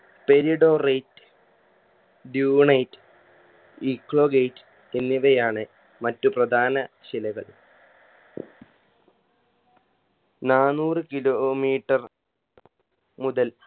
peridotite dunate ecogate എന്നിവയാണ് മറ്റു പ്രധാന ശിലകൾ നാനൂറ് kilometer മുതൽ